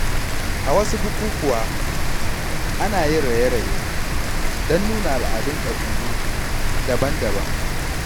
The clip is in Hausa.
A wasu bukukuwa, ana yin raye-raye don nuna al’adun kabilu daban-daban.